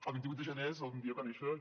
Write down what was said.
el vint vuit de gener és el dia que va néixer j